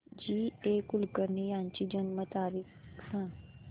जी A Kulkarni यांची जन्म तारीख सांग